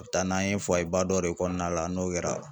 O bɛ taa n'an ye ba dɔ de kɔnɔna la n'o kɛra